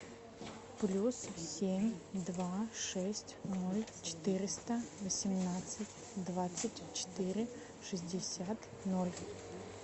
плюс семь два шесть ноль четыреста восемнадцать двадцать четыре шестьдесят ноль